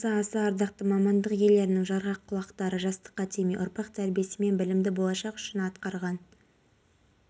оңтүстік қазақстан облысының күндіз кей жерлерінде бұршақ жаууы мүмкін жекелеген аудандарында жел секундына метрге дейін